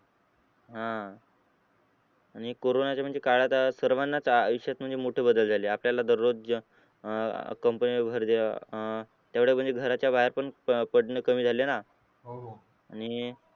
आह आणि corona च्या म्हणजे काळात त सर्वांच्याच आयुष्यात म्हणजे मोठे बदल झाले अह त्यामुळे म्हणजे घराच्या बाहेर पण पडणे कमी झाले ना